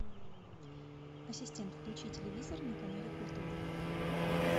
ассистент включи телевизор на канале культура